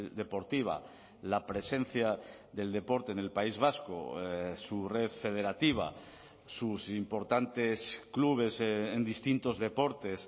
deportiva la presencia del deporte en el país vasco su red federativa sus importantes clubes en distintos deportes